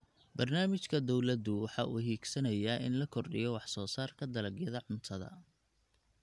Barnaamijka dawladdu waxa uu higsanayaa in la kordhiyo wax soo saarka dalagyada cuntada.